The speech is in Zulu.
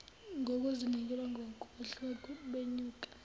ngokuzinikela ngokwehla benyuka